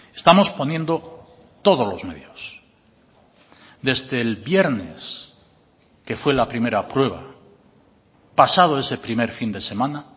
estamos poniendo todos los medios desde el viernes que fue la primera prueba pasado ese primer fin de semana